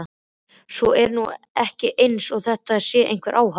Svo er nú ekki eins og þetta sé einhver áhætta.